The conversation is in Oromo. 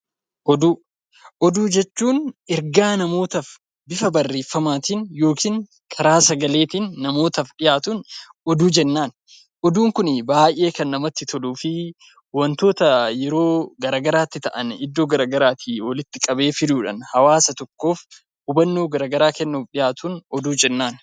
Oduu jechuun ergaa namootaaf bifa barreeffamaatiin yookiin karaa sagaleetiin namootaaf dhiyaatu oduu jenna. Oduun kun baayyee kan namatti toluu fi wantoota yeroo garaa garaatti ta'an iddoo garaa garaatii walitti qabee fiduudhaan hawwaasa tokkoof hubannoo garaa garaa kennuudhaaf dhiyaatu oduu jenna.